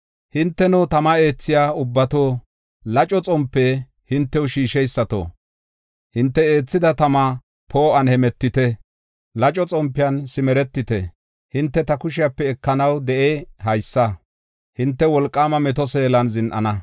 Hinteno tama eethiya ubbato, laco xompe hintew shiisheysato, hinte eethida tama poo7uwan hemetite. Laco xompiyan simeretite; Hinte ta kushepe ekanaw de7ey haysa; hinte wolqaama meto seelan zin7ana.